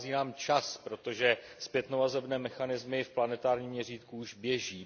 Dochází nám čas, protože zpětnovazebné mechanismy v planetárním měřítku už běží.